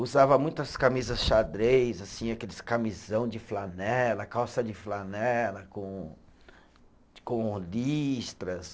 Usava muitas camisas xadrez, assim, aqueles camisão de flanela, calça de flanela com com listras.